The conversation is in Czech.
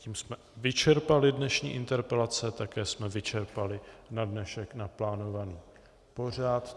Tím jsme vyčerpali dnešní interpelace, také jsme vyčerpali na dnešek naplánovaný pořad.